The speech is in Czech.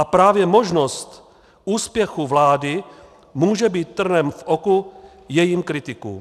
A právě možnost úspěchu vlády může být trnem v oku jejím kritikům.